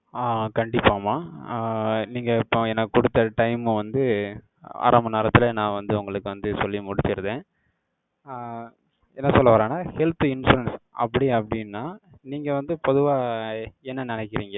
ஆஹ் கண்டிப்பாமா. ஆஹ் நீங்க இப்போ, எனக்கு குடுத்த time வந்து, அரமண் நேரத்திலே, நான் வந்து, உங்களுக்கு வந்து, சொல்லி முடிச்சிருறேன். ஆஹ் என்ன சொல்ல வர்றேன்னா, health insurance, அப்படி, அப்படின்னா, நீங்க வந்து, பொதுவா, என்ன நினைக்கிறீங்க?